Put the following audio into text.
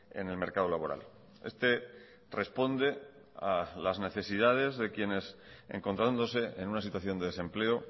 en el mercado laboral este responde a las necesidades de quienes encontrándose en una situación de desempleo